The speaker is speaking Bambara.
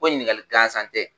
Ko ɲininkali gansan tɛ